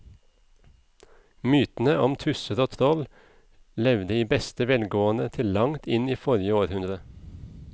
Mytene om tusser og troll levde i beste velgående til langt inn i forrige århundre.